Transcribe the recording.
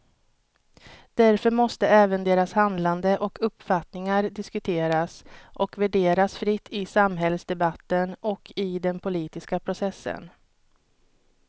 Därför måste även deras handlande och uppfattningar diskuteras och värderas fritt i samhällsdebatten och i den politiska processen.